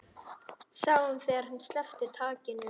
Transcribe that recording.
Sáum þegar hann sleppti takinu.